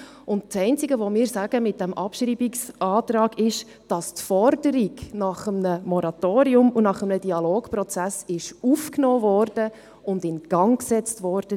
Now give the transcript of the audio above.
Das einzige, das wir mit dem Abschreibungsantrag sagen, ist, dass die Forderung nach einem Moratorium und nach einem Dialogprozess aufgenommen und in Gang gesetzt wurde.